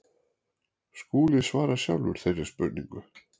Skúli svarar sjálfur þeirri spurningu.